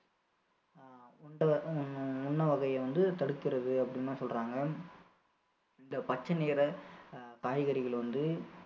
வகையை வந்து தடுக்கிறது அப்படின்னு சொல்றாங்க இந்த பச்சை நிற அஹ் காய்கறிகள் வந்து